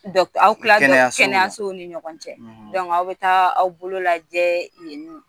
aw bɛ tila kɛnɛyasow ni ɲɔgɔn cɛ aw bɛ taa aw bolo lajɛ yen nƆ.